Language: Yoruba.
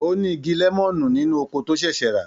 Ó ní igi lẹ́mọ̀nù nínú oko tó ṣẹ̀ṣẹ̀ rà.